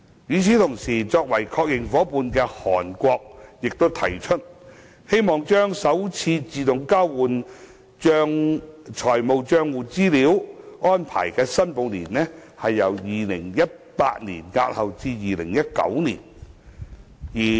與此同時，作為確認夥伴的韓國提出，希望把首次自動交換資料的申報年，由2018年押後至2019年。